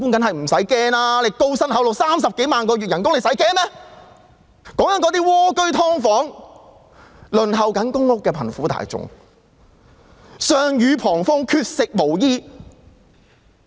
可是，普羅市民——我說的是那些蝸居戶、"劏房戶"及正在輪候公共房屋的貧苦大眾——卻是上雨旁風，缺食無衣。